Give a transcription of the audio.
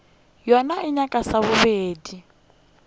yona e nyaka sa bobedi